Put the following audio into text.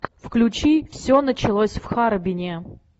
включи все началось в харбине